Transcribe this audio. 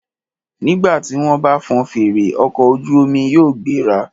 Nígbà tí wọ́n bá fọn fèrè, ọkọ̀ ojú omi yóò gbéra.